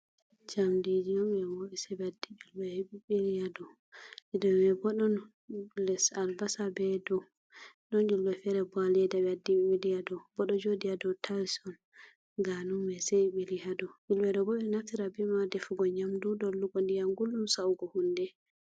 Jamdiɗi on be mboobi sei be waɗɗi yulbemai be bili ha dau. Ɗau mai bo ɗon les Albasa be ɗau. Ɗon yulbe vere bo ha leeda be waɗɗi be bili ha dau. Boɗo juuɗi ha ɗau ta'ils on ganumai sei be bili ha dau. Yulbe ɗo bo be natira bemai ha ɗefigo ndiyam guldum sa’ugo hunde.